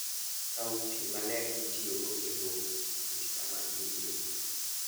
Kaw pi maler mitiyogo e lwoko pi sama in e wuoth.